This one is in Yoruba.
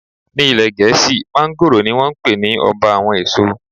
Ní ilé Gẹ̀ẹ́sì, mángóròò ni wón ń pe ní Ọba àwọn èso.